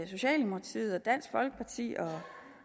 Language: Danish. socialdemokratiet og dansk folkeparti